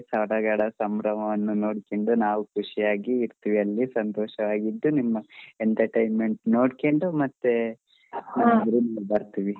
ಸಡಗರ ಸಂಭ್ರಮ ನೋಡ್ಕೊಂಡ್ ನಾವು ಖುಷಿಯಾಗಿ ಇರತೆವಿ ಅಲ್ಲಿ ಸಂತೋಷವಾಗಿ ಇದ್ದು ನಿಮ್ಮ entertainment ನೋಡ್ಕೊಂಡು ಮತ್ತೆ ಬರ್ತೀವಿ.